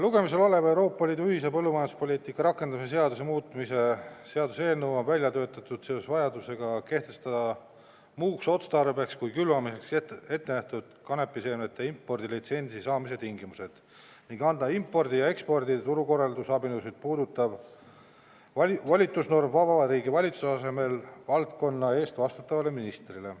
Lugemisel olev Euroopa Liidu ühise põllumajanduspoliitika rakendamise seaduse muutmise seaduse eelnõu on välja töötatud seoses vajadusega kehtestada muuks otstarbeks kui külvamiseks ette nähtud kanepiseemnete impordilitsentsi saamise tingimused ning anda impordi ja ekspordi turukorraldusabinõusid puudutav volitusnorm Vabariigi Valitsuse asemel valdkonna eest vastutavale ministrile.